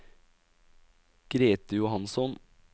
Grethe Johansson